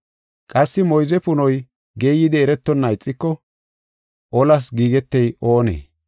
Qassi moyze punoy geeyidi eretonna ixiko olas giigetey oonee?